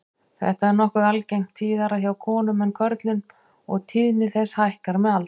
Þetta er nokkuð algengt, tíðara hjá konum en körlum og tíðni þess hækkar með aldri.